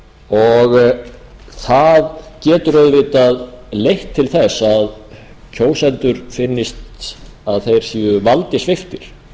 sínum það getur auðvitað leitt til þess að kjósendum finnst að þeir séu valdi sviptir